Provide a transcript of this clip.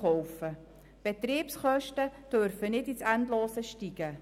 Die Betriebskosten dürfen nicht ins Endlose ansteigen.